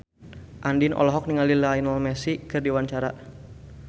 Andien olohok ningali Lionel Messi keur diwawancara